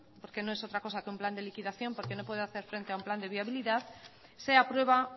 porque no es otra cosa que un plan de liquidación porque no puede hacer frente a un plan de viabilidad se aprueba